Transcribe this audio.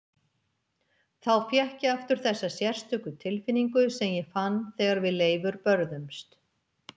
Þá fékk ég aftur þessa sérstöku tilfinningu sem ég fann þegar við Leifur börðumst.